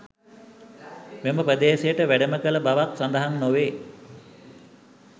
මෙම ප්‍රදේශයට වැඩම කළ බවක් සඳහන් නොවේ.